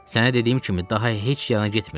Sənə dediyim kimi daha heç yana getmirəm.